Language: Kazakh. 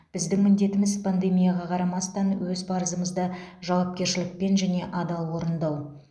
біздің міндетіміз пандемияға қарамастан өз парызымызды жауапкершілікпен және адал орындау